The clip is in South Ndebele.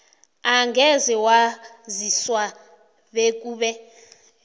angeze waziswa bekube